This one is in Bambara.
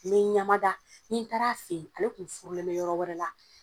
N be ɲamada ni n taar'a fe yen ale tun furulen bɛ yɔrɔ wɛrɛ la